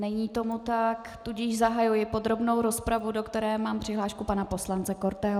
Není tomu tak, tudíž zahajuji podrobnou rozpravu, do které mám přihlášku pana poslance Korteho.